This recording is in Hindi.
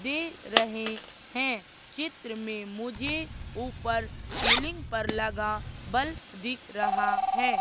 दे रहे हैं चित्र में मुझे ऊपर सीलिंग पर लगा बल्ब दिख रहा है।